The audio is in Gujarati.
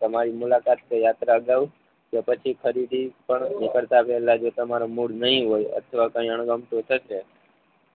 તમારી મુલાકાત કે યાત્રા અગાઉ કે પછી ખરીદી પણ ની કરતા પેહલા જે તમારો મૂળ નહિ હોય અથવા કઈ અણગમતું થશે